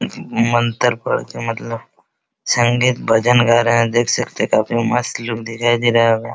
मंतर पढ़ते हैं मतलब संगीत भजन गा रहें हैं। देख सकते हैं काफी मस्त लुक दिखाई दे रहा होगा।